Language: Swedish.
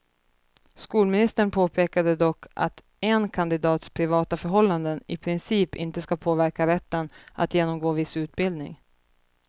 Skolministern påpekade dock att en kandidats privata förhållanden i princip inte skall påverka rätten att genomgå viss utbildning.